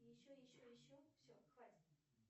еще еще еще все хватит